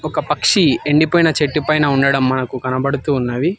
ఒక పక్షి ఎండిపోయిన చెట్టు పైన ఉండడం మనకు కనబడుతూ ఉన్నవి.